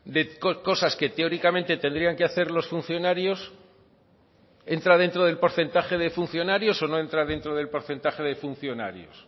de cosas que teóricamente tendrían que hacer los funcionarios entra dentro del porcentaje de funcionarios o no entra dentro del porcentaje de funcionarios